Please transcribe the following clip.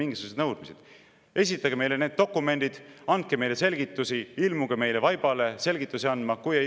"Esitage meile need dokumendid, andke meile selgitusi, ilmuge meie vaibale selgituste andmiseks!